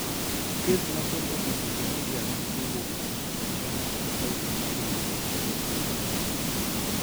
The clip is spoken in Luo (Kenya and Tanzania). Kes mathoth osenyiso ni igame kowuok kuom anyuola e fashion maidendo ni autosomal dominant.